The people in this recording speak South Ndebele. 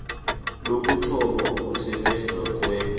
lokuthoma ukusebenza kwe